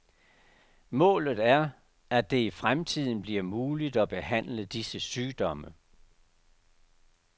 Målet er, at det i fremtiden bliver muligt at behandle disse sygdomme.